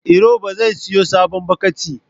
Iro ba zai siyo sabon bokitin